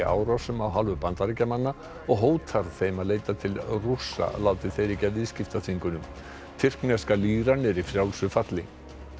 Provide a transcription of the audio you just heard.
árásum af hálfu Bandaríkjamanna og hótar þeim að leita til Rússa láti þeir ekki af viðskiptaþvingunum tyrkneska líran er í frjálsu falli